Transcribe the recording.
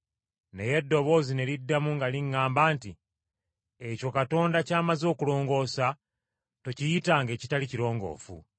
“Naye eddoboozi ne liddamu nga liŋŋamba nti, ‘Ekyo Katonda ky’amaze okulongoosa tokiyitanga ekitali kirongoofu.’